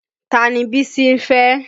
Tani Bísí ń fẹ́?